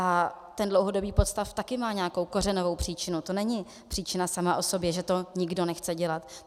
A ten dlouhodobý podstav také má nějakou kořenovou příčinu, to není příčina sama o sobě, že to nikdo nechce dělat.